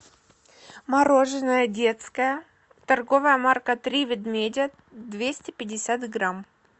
мороженое детское торговая марка три ведмедя двести пятьдесят грамм